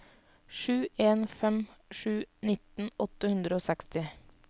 sju en fem sju nitten åtte hundre og seksti